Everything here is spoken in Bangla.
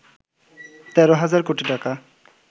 ১৩ হাজার কোটি টাকা